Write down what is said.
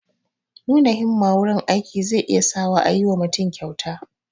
Nuna himmaa wurin aiki zai iya sa wa a yi wa mutum kyauta